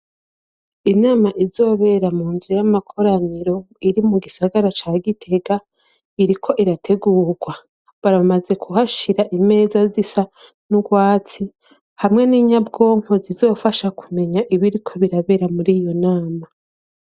Inama izobera mu nzu y'amakoraniro iri mu gisagara ca Gitega iriko irategurwa. Baramaze kuhashira imeza zisa n'urwatsi, hamwe n'inyabwonko zizofasha kumenya ibiriko birabera muri iyo nama.